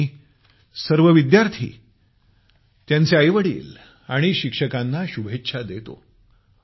मी सर्व विद्यार्थी त्यांचे आईवडील आणि शिक्षकांना शुभेच्छा देतो